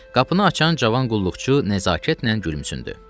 Qapını açan cavan qulluqçu nəzakətlə gülümsündü.